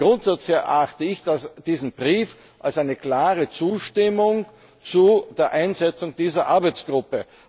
Vom Grundsatz her erachte ich diesen Brief als eine klare Zustimmung für die Einsetzung dieser Arbeitsgruppe.